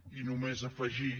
i només afegir